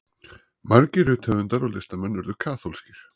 margir rithöfundar og listamenn urðu kaþólskir